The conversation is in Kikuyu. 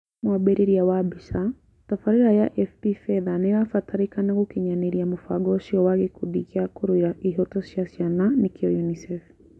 Mwambĩrĩrio wa mbica, tabarira ya AFP fedha nĩĩrabatarĩkana gũkinyanĩria mũbango ũcio wa Gĩkundi gĩa kũrũĩra ihoto cia ciana nĩkĩo UNICEF